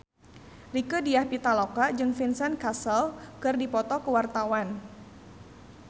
Rieke Diah Pitaloka jeung Vincent Cassel keur dipoto ku wartawan